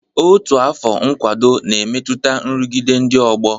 Otu afọ nkwado na-emetụta nrụgide ndị ọgbọ